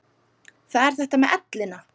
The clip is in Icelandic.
Það er þetta með ellina.